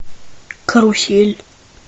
карусель